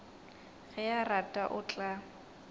ge a rata o tla